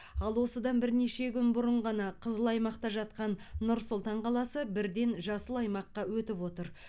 ал осыдан бірнеше күн бұрын ғана қызыл аймақта жатқан нұр сұлтан қаласы бірден жасыл аймаққа өтіп отыр